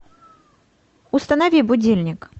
установи будильник